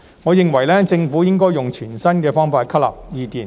我認為政府應該用全新的方法吸納意見。